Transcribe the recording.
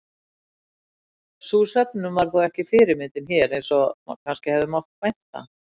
Sú söfnun varð þó ekki fyrirmyndin hér eins og kannski hefði mátt vænta.